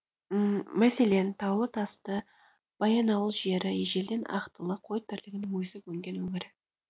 мәселен таулы тасты баянауыл жері ежелден ақтылы қой тірлігінің өсіп өнген өңірі